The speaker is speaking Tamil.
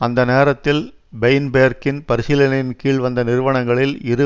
அந்த நேரத்தில் பெயின்பேர்க்கின் பரிசீலனையின்கீழ் வந்த நிறுவனங்களில் இரு